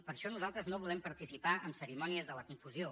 per això nosaltres no volem participar en cerimònies de la confusió